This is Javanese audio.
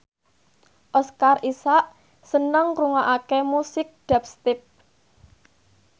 Oscar Isaac seneng ngrungokne musik dubstep